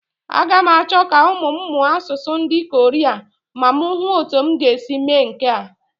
Aga m achọ ka ụmụ m mụọ asụsụ ndị Koria ma m hụ ọ́tụ́ m ga-esi mee nke a.